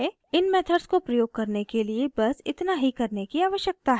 इन methods को प्रयोग करने के लिए बस इतना ही करने की आवश्यकता है